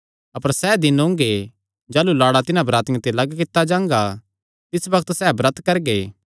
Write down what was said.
अपर सैह़ दिन ओंगे जाह़लू लाड़ा तिन्हां बरातियां ते लग्ग कित्ता जांगा तिस बग्त सैह़ ब्रत करगे